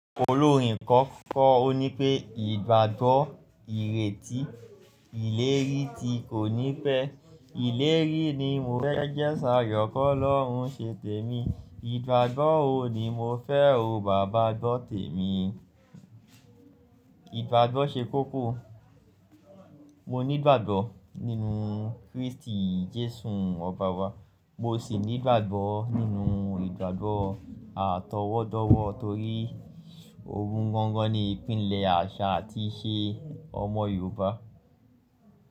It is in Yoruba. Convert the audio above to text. Olórin kan kọ orin pé "Ìgbàgbọ́ ìrètí ìlérí ti kò ní pẹ̀ẹ́. Ìlérí ni mo fẹ́ jẹ́ṣà, k'ọlọ́run ṣe tèmi. Ìgbàgbọ́ o ni mo fẹ́ o, baba gbọ̀ tèmi." Ìgbàgbọ́ ṣe kókó. Mo nígbàgbọ́ nínú Kristi Jésù Ọba wa, mo sì nígbàgbọ́ nínú ìgbàgbọ́ àtọwọ́dọ̀wọ́ torí òun gángán ni ìpílẹ̀ àṣà àti ìṣe ọmọ Yorùbá.